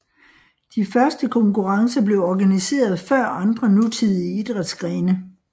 De første konkurrencer blev organiseret før andre nutidige idrætsgrene